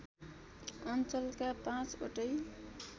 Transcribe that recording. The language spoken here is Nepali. अञ्चलका पाँचवटै